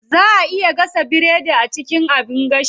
Zaa a iya gasa biredi a cikin abin gashi.